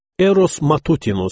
Eros Matutinuss.